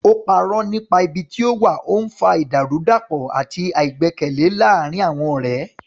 Ó parọ́ nípa ibi tí ó wà, ó ń fa ìdàrúdàpọ̀ àti àìgbẹ́kẹ̀lé láàárín àwọn ọ̀rẹ́.